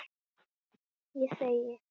Ég þegi.